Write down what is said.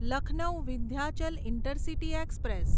Lucknow Vindhyachal intercity express